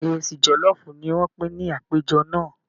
Ìrẹsì jọlọfu ní wọn pin ní àpéjọ náà.